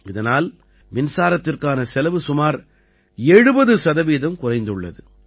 இதனால் மின்சாரத்திற்கான செலவு சுமார் 70 சதவீதம் குறைந்துள்ளது